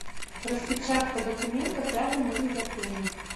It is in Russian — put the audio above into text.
распечатка документов рядом или в отеле